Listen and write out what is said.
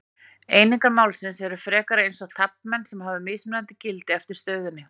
Einingar málsins eru frekar eins og taflmenn sem hafa mismunandi gildi eftir stöðunni.